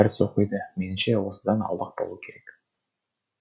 дәріс оқиды меніңше осыдан аулақ болу керек